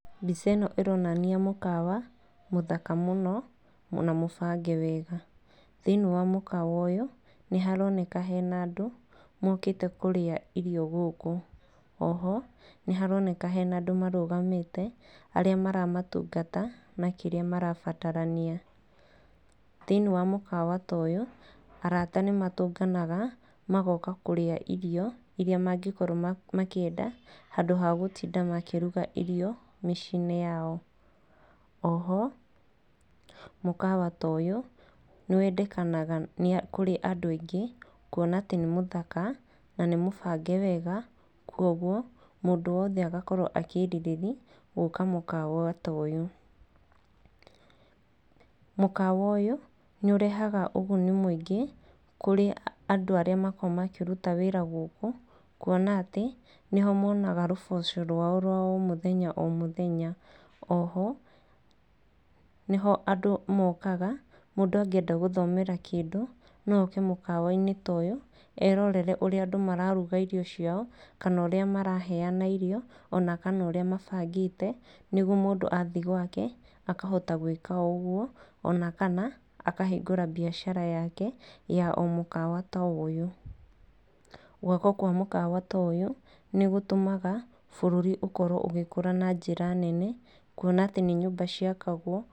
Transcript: Mbica ĩno ĩronania mũkawa mũthaka mũno na mũbange wega, hĩiniĩ wa mũkawa ũyũ nĩ haroneka hena andũ mokĩte kũrĩa irio gũkũ. Oho, nĩ haroneka hena andũ marũgamĩte arĩa maramatungata na kĩrĩa marabatarania. Thĩiniĩ wa mũkawa ta ũyũ arata nĩ matũnganaga magoka kũrĩa irio iria mangĩkorwo makĩenda handũ ha gũtinda makĩruga irio mĩciĩ-inĩ yao. O ho mũkawa ta ũyũ nĩ wendekanaga kũrĩ andũ aingĩ kuona atĩ nĩ mũthaka na nĩ mũbange wega kũoguo mũndũ wothe agakorwo akĩrirĩria gũka mũkawa ta ũyũ. Mũkawa ũyũ nĩ ũrehaga ũguni mũingĩ kũrĩ andũ arĩa makoragwo makĩruta wĩra gũkũ kuona atĩ nĩho monaga rũboco rwao rwao mũthenya o mũthenya. O ho nĩho andũ mokaga, mũndũ angĩenda gũthomera kĩndũ no oke mũkawa-inĩ ta ũyũ erorere ũríĩ andũ mararuga irio ciao, kana ũrĩa maraheana irio, ona kana ũrĩa mabangĩte nĩguo mũndũ athi gwake akahota gwĩka o ũguo ona kana akahingũra mbiacara yake ya mũkawa ta ũyũ. Gwakwo kwa mũkawa ta ũyũ nĩ gũtũmaga bũrũri ũkorwo ũgĩkũra na njĩra nene kuona atĩ nĩ nyũmba ciakagwo.